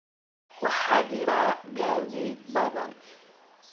waxaa jira gaadiid badan